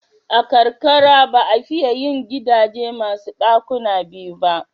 A karkara ba a fiye yin gidaje masu ɗukuna biyu ba.